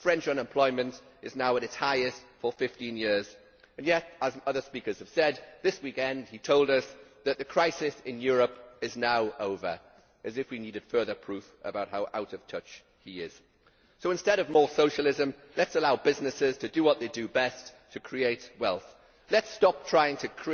French unemployment is now at its highest for 15 years and yet, as other speakers have said, this weekend he told us that the crisis in Europe is now over, as if we needed further proof of how out of touch he is. So, instead of more Socialism, let us allow businesses to do what they do best create wealth. Let us stop trying